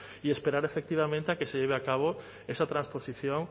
y esperar efectivamente a que se lleve a cabo esa trasposición